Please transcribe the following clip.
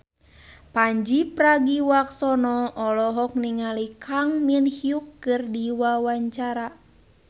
Pandji Pragiwaksono olohok ningali Kang Min Hyuk keur diwawancara